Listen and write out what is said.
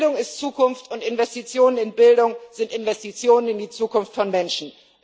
Bildung ist Zukunft, und Investitionen in Bildung sind Investitionen in die Zukunft von Menschen.